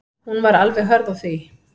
Hún var alveg hörð á því.